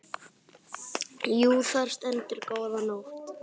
Jú, þar stendur góða nótt.